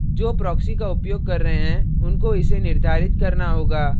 जो proxy का उपयोग कर रहे हैं उनको इसे निर्धारित करना होगा